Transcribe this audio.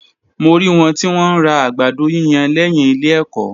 Mo rí wọn tí wọ́n ń ra àgbàdo yíyan lẹ́yìn ilé ẹ̀kọ́.